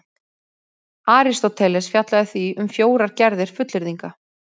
Aristóteles fjallaði því um fjórar gerðir fullyrðinga: